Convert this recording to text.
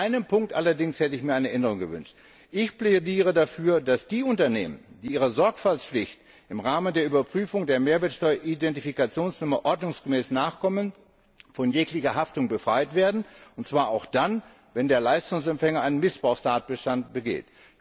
In einem Punkt hätte ich mir allerdings eine Änderung gewünscht Ich plädiere dafür, dass die Unternehmen, die ihrer Sorgfaltspflicht im Rahmen der Überprüfung der Mehrwertsteueridentifikationsnummer ordnungsgemäß nachkommen, von jeglicher Haftung befreit werden, und zwar auch dann, wenn der Leistungsempfänger einen Missbrauchstatbestand begeht.